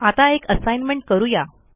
आता एक असाईनमेंट करू या